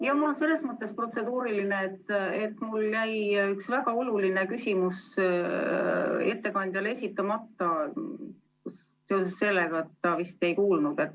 Jaa, mul on selles mõttes protseduuriline, et mul jäi üks väga oluline küsimus ettekandjale esitamata seoses sellega, et ta vist ei kuulnud.